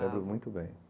Lembro muito bem.